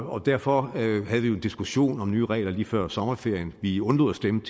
og derfor havde vi jo en diskussion om nye regler lige før sommerferien vi undlod at stemme